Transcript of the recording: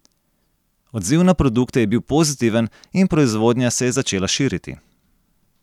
Odziv na produkte je bil pozitiven in proizvodnja se je začela širiti.